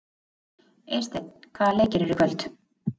Eysteinn, hvaða leikir eru í kvöld?